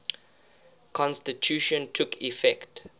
constitution took effect